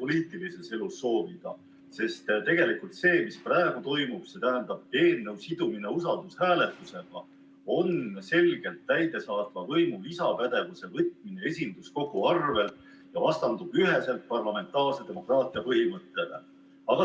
poliitilises elus soovida, sest tegelikult see, mis praegu toimub, eelnõu sidumine usaldushääletusega, on selgelt täidesaatva võimu lisapädevuse võtmine esinduskogu arvel ja vastandub üheselt parlamentaarse demokraatia põhimõttele.